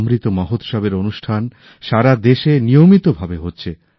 অমৃত মহোৎসব এর অনুষ্ঠান সারাদেশে নিয়মিতভাবে হচ্ছে